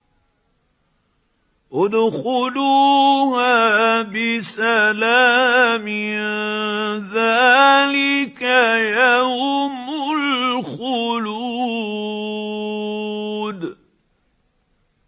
ادْخُلُوهَا بِسَلَامٍ ۖ ذَٰلِكَ يَوْمُ الْخُلُودِ